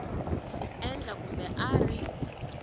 endla kumbe a a ri